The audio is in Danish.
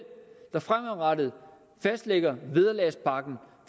der fremadrettet fastlægger vederlagspakken